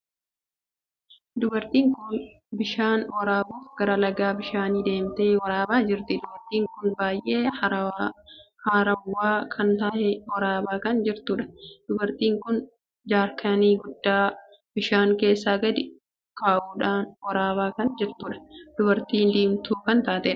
Dubartiin kun bishaan waraabuuf gara Laga bishaanii deemtee waraabaa jirti. dubartiin kun baay'ee harawwa kan tahee waraabaa kan jirtuudha. dubartiin kun jaarkaanii guddaa bishaan keessa gad kaa'uudhaan waraabaa kan jirtuudha. dubartiin diimtuu kan taateedha.